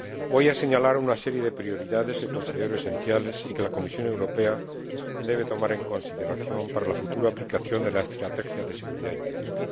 Voy a señalar una serie de prioridades que considero esenciales y que la Comisión Europea debe tomar en consideración para la futura aplicación de la Estrategia de Seguridad Interior.